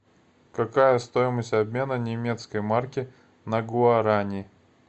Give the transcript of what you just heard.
какая стоимость обмена немецкой марки на гуарани